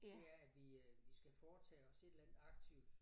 Det er at vi øh vi skal foretage os et eller andet aktivt